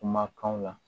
Kumakanw la